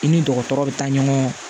I ni dɔgɔtɔrɔ bɛ taa ɲɔgɔn